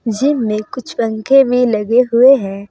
Gym में कुछ पंखे में लगे हुए है।